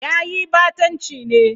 Yayi ɓatanci ne.